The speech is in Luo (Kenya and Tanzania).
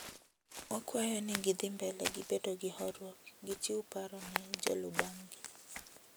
Wakwayo gi ni githimbele gi bedo gi horuok, gichiw paro ne jolubangi.